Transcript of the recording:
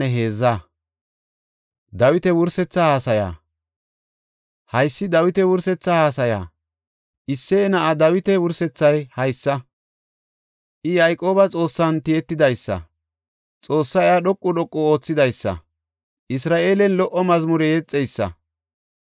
Haysi Dawiti wursetha haasaya. Isseye na7aa Dawita wuresethay haysa; I Yayqooba Xoossan tiyetidaysa; Xoossay iya dhoqu dhoqu oothidaysa; Isra7eelen lo77o mazmure yexeysa.